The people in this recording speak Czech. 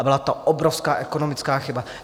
A byla to obrovská ekonomická chyba.